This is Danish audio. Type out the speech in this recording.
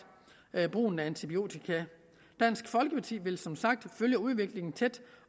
brugen af antibiotika dansk folkeparti vil som sagt følge udviklingen tæt